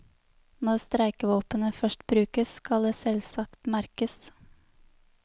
Når streikevåpenet først brukes, skal det selvsagt merkes.